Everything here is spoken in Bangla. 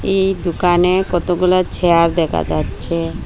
এই দোকানে কতগুলা চেয়ার দেখা যাচ্ছে।